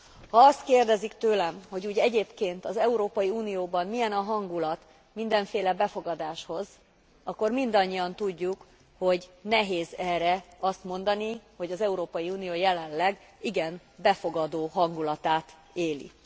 Ha azt kérdezik tőlem, hogy úgy egyébként az Európai Unióban milyen a hangulat mindenféle befogadáshoz, akkor mindannyian tudjuk, hogy nehéz erre azt mondani, hogy az Európai Unió jelenleg igen befogadó hangulatát éli.